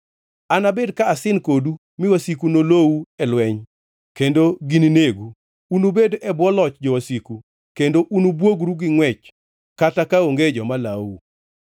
Anabed ka asin kodu mi wasiku nolou e lweny kendo gininegu; unubed e bwo loch jowasiku, kendo unubwogru gi ngʼwech kata kaonge joma lawou.